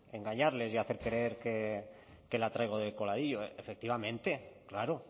engañarles y hacer creer que la traigo de coladillo efectivamente claro